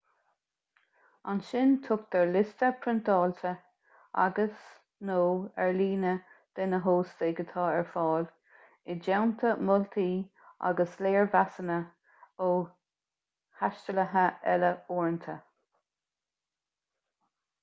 ansin tugtar liosta priontáilte agus/nó ar líne de na hóstaigh atá ar fáil i dteannta moltaí agus léirmheasanna ó thaistealaithe eile uaireanta